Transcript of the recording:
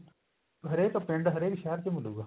ਹਰੇਕ ਪਿੰਡ ਹਰੇਕ ਸ਼ਹਿਰ ਚ ਮਿਲੁਗਾ